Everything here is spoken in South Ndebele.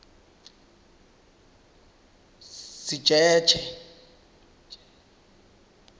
sitjetjhe